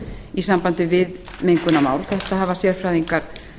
í sambandi við mengunarmál þetta hafa sérfræðingar